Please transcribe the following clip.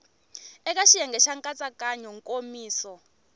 eka xiyenge xa nkatsakanyo nkomiso